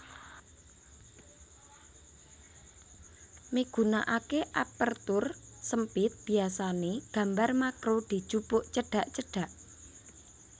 Migunakaké Aperture SempitBiasané gambar makro dijupuk cedhak cedhak